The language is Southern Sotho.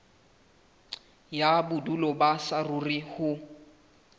ya bodulo ba saruri ho